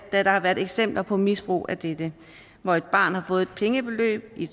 har været eksempler på misbrug af dette hvor et barn har fået et pengebeløb i